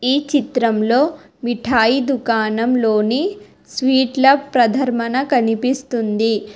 ఈ చిత్రంలో మిఠాయి దుకాణం లోని స్వీట్ల ప్రధర్మన కనిపిస్తుంది.